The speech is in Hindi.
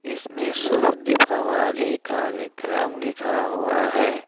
इसमें शुभ दीपावली कार्यक्रम लिखा हुआ है।